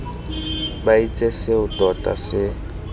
ba itse seo tota se